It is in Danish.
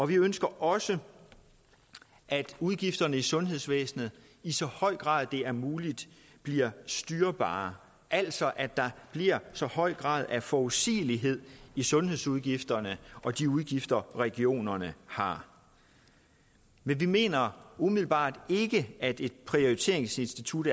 vi ønsker også at udgifterne i sundhedsvæsenet i så høj grad det er muligt bliver styrbare altså at der bliver så høj en grad af forudsigelighed i sundhedsudgifterne og de udgifter regionerne har men vi mener umiddelbart ikke at et prioriteringsinstitut